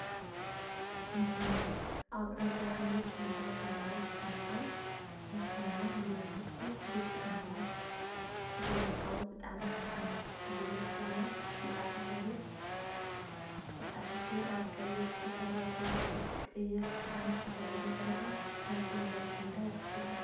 እህህ! ኣብ ዕንቋይ ሕብሪ ኬንዳ ዝነብሩ ተፈናቀል ሕቶና ብመንግስቲ ግቡእ ምላሽ ዘይ ምርካቡ ብጣዕሚ ሓዚና ዝብል ዜና ብጻዕዳ ሕብሪ ተጻሒፉ ኣብ ቀይሕ ድሕረ ባይታ ይርከብ። ቀይሕ ክዳን ዝተከደን ቆልዓ ናብቲ መንብሪ ኬንዳ ይኣቱ ኣሎ።